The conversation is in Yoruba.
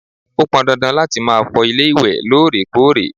ó pọn dandan láti ma fọ ilé ìwé lóòrèkóòrè